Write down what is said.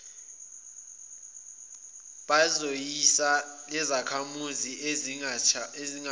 bayiso lezakhamizi ekusingathweni